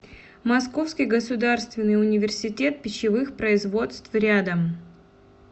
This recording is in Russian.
московский государственный университет пищевых производств рядом